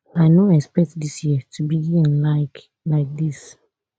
i no expect dis year to begin like like dis